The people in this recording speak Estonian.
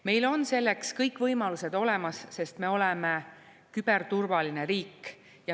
Meil on selleks kõik võimalused olemas, sest me oleme küberturvaline riik.